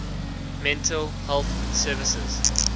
mental health services